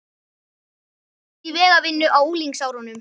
Mér finnst það einhvernveginn ekki rétt.